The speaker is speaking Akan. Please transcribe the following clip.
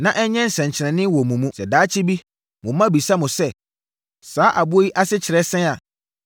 na ɛnyɛ nsɛnkyerɛnneɛ wɔ mo mu. Sɛ daakye bi, mo mma bisa mo sɛ, ‘Saa aboɔ yi ase kyerɛ sɛn’ a,